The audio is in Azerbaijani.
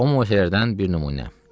O möizələrdən bir nümunə: